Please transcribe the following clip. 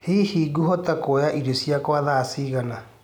hĩhĩ nguhota kũoyaĩrĩo cĩakwa thaa cĩĩgana